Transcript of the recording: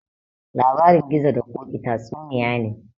Labarin gizo da koƙi tatsuniya ne